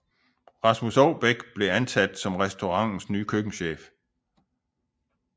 Rasmus Oubæk blev ansat som restaurantens nye køkkenchef